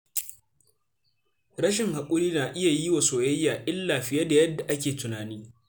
Rashin haƙuri na yi wa soyayya illa fiye da yadda ake tunani.